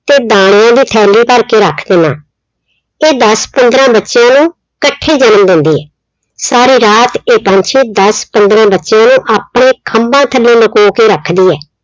ਤੇ ਦਾਣੇ ਉਹਦੇ ਭਰ ਕੇ ਰੱਖ ਦਿੰਨਾ। ਇਹ ਦਸ ਪੰਦਰਾਂ ਬੱਚਿਆਂ ਨੂੰ ਇਕੱਠੇ ਈ ਜਨਮ ਦਿੰਦੀ ਏ। ਸਾਰੀ ਰਾਤ ਇਹ ਪੰਛੀ ਦਸ ਪੰਦਰਾਂ ਬੱਚਿਆਂ ਨੂੰ ਆਪਣੇ ਖੰਭਾਂ ਥੱਲੇ ਲੁਕੋ ਕੇ ਰੱਖਦੀ ਏ।